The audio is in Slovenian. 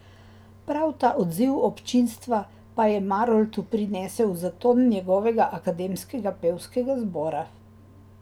Prav ta odziv občinstva pa je Maroltu prinesel zaton njegovega Akademskega pevskega zbora.